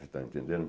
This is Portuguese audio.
Está entendendo?